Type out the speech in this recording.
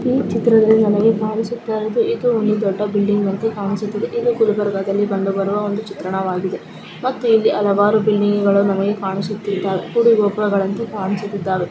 ಈ ಚಿತ್ರದಲ್ಲಿ ನಮಗೆ ಕಾಣಿಸುತ್ತಾ ಇದು ಒಂದು ದೊಡ್ಡ ಬಿಲ್ಡಿಂಗ್ ಎಂದು ಕಾಣಿಸುತ್ತಿದೆ ಇದು ಗುಲ್ಬರ್ಗದಲ್ಲಿ ಕಂಡು ಬರುವ ಒಂದು ಚಿತ್ರಣವಾಗಿದೆ ಮತ್ತೆ ಇಲ್ಲಿ ಹಲವಾರು ಬಿಲ್ಡಿಂಗು ಗಳಲ್ಲಿ ನಮಗೆ ಕಾಣುಸುತ್ತಿದಾವೆ ಗುಡಿಗೊಪುರಗಳಂತೆ ಕಾಣಿಸುತ್ತಿದ್ದಾವೆ .